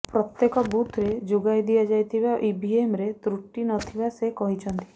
ପ୍ରତ୍ୟେକ ବୁଥରେ ଯୋଗାଇ ଦିଆଯାଇଥିବା ଇଭିଏମରେ ତ୍ରୁଟି ନଥିବା ସେ କହିଛନ୍ତି